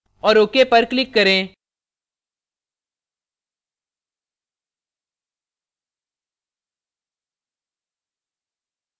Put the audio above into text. और ok पर click करें